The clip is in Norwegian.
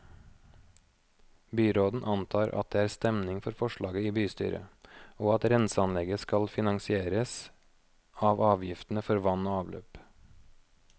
Byråden antar at det er stemning for forslaget i bystyret, og at renseanlegget skal finansieres av avgiftene for vann og avløp.